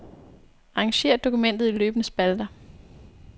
Arrangér dokumentet i løbende spalter.